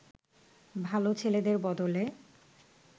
ভালো ছেলেদের বদলে